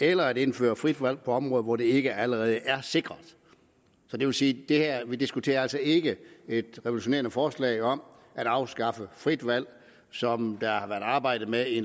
eller at indføre frit valg på områder hvor dette ikke allerede er sikret det vil sige at det vi diskuterer altså ikke er et revolutionerende forslag om at afskaffe frit valg som været arbejdet med i